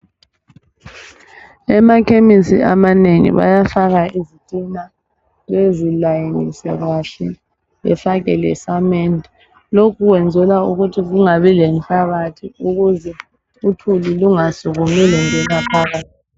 Emakhemisi amanengi bayafaka izitina bezilayinise kahle bafake lesamende. Lokhu kwenzela ukuthi kungabi lenhlabathi ukuze uthuli lungasukumi lungena phakathi.